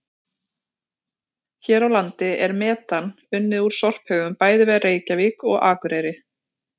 Hér á landi er metan unnið úr sorphaugum bæði við Reykjavík og Akureyri.